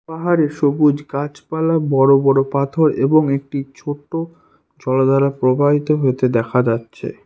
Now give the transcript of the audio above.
পাহাড়ে সবুজ গাছপালা বড় বড় পাথর এবং একটি ছোট্ট জলধারা প্রবাহিত হতে দেখা যাচ্ছে।